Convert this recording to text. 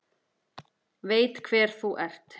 Veit hver þú ert.